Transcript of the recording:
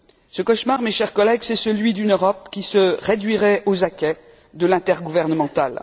Ce cauchemar, mes chers collègues, c'est celui d'une Europe qui se réduirait aux acquêts de l'intergouvernemental.